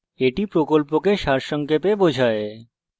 এটি কথ্য tutorial প্রকল্পকে সারসংক্ষেপে বোঝায়